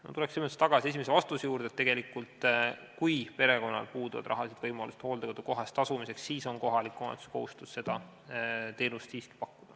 " Ma tulen siinkohal tagasi esimese vastuse juurde ja ütlen veel kord, et kui perekonnal puuduvad rahalised võimalused hooldekodu koha eest tasumiseks, siis on kohaliku omavalitsuse kohustus seda teenust siiski pakkuda.